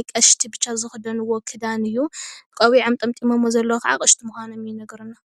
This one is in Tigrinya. ኣቐሽቲ ብቻ ዝኽደንዎ ክዳን እዩ፡፡ ቆቢዖም ጠምጢሞምዎ ዘለዉ ከዓ ኣቐሽቲ ምዃኖም ይነግረና፡፡